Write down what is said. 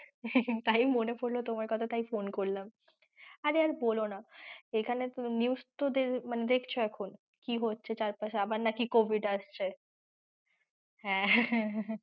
তাই মনে পড়লো তোমার কথা তাই phone করলাম।